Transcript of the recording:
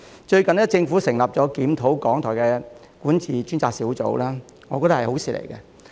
最近，政府成立檢討港台管治的專責小組，我覺得是好事。